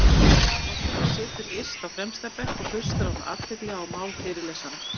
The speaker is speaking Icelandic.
Vigdís forseti situr yst á fremsta bekk og hlustar af athygli á mál fyrirlesara.